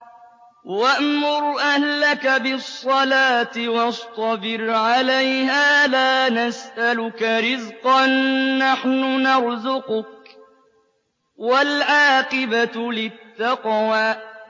وَأْمُرْ أَهْلَكَ بِالصَّلَاةِ وَاصْطَبِرْ عَلَيْهَا ۖ لَا نَسْأَلُكَ رِزْقًا ۖ نَّحْنُ نَرْزُقُكَ ۗ وَالْعَاقِبَةُ لِلتَّقْوَىٰ